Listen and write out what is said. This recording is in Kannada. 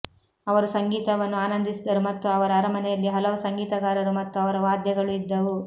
ಅವರು ಸಂಗೀತವನ್ನು ಆನಂದಿಸಿದರು ಮತ್ತು ಅವರ ಅರಮನೆಯಲ್ಲಿ ಹಲವು ಸಂಗೀತಗಾರರು ಮತ್ತು ಅವರ ವಾದ್ಯಗಳು ಇದ್ದವು